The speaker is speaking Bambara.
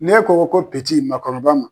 Ne ko ko makɔrɔba ma